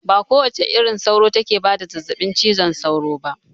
Ba kowace irin sauro take bada zazzaɓin cizon sauro ba